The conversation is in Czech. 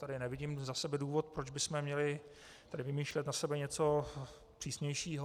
Tady nevidím za sebe důvod, proč bychom měli tady vymýšlet na sebe něco přísnějšího.